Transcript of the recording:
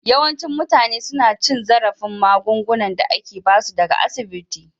Yawancin mutane suna cin zarafin magungunan da ake ba su daga asibiti